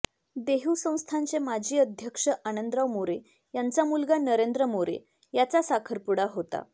देहू संस्थानचे माजी अध्यक्ष आनंदराव मोरे यांचा मुलगा नरेंद्र मोरे याचा साखरपुडा होता